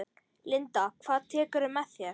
Linda: Hvað tekurðu með þér?